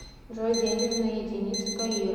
джой денежная единица каира